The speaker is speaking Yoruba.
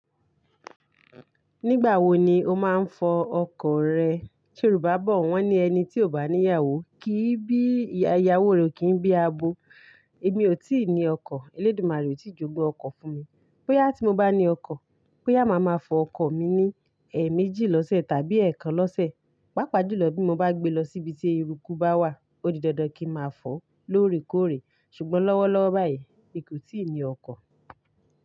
Nígbà wo ni o máa ń fọ ọkọ̀ rẹ? Ṣé rù bá bọ̀, wọ́n ní ẹni tí ò bá ní ìyàwó kì í bí iyawo kì í bí abo. Èmi ò tí ì ní ọkọ̀, Elédumàré ò tí ì jogun ọkọ̀ fún mi. Boya tí mo bá ní ọkọ̀, boyá máa ma fọ ọkọ̀ mi ní ẹẹ́méjì lọ́sẹ̀ tàbí ẹ̀ẹ̀kan lọ́sẹ̀. Páapaá Jùlọ bí mo bá gbé lọ síbi tí eruku bá wà, ó di dandan kí ma fọ̀ lóòrèkóòrè. Ṣùgbọ́n lọ́wọ́lọ́wọ́ báyìí, èmi kò tí ì ní ọkọ̀